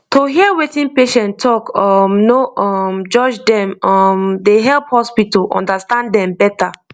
to hear wetin patient talk um no um judge dem um dey help hospital understand dem better